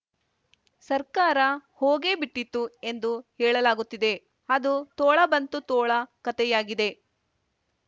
ಸರ್ಕಾರ ಹೋಗೇ ಬಿಟ್ಟಿತು ಎಂದು ಹೇಳಲಾಗುತ್ತಿದೆ ಅದು ತೋಳ ಬಂತು ತೋಳ ಕಥೆಯಾಗಿದೆ